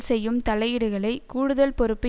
செய்யும் தலையீடுகலை கூடுதல் பொறுப்பு